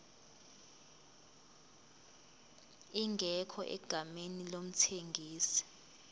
ingekho egameni lomthengisi